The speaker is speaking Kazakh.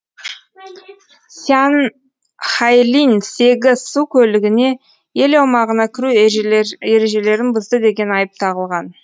сян хайлинь сегіз су көлігіне ел аумағына кіру ережелерін бұзды деген айып тағылған